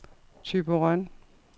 Thyborøn